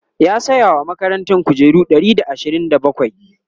ya saya wa makarantan kujeru Ɗari da ashirin da bakwai?